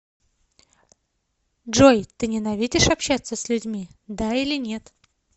джой ты ненавидишь общаться с людьми да или нет